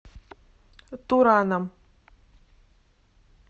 тураном